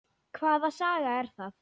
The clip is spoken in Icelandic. Hvaða saga er það?